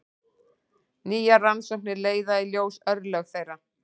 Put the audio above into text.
Nýjar rannsóknir leiða í ljós örlög þeirra.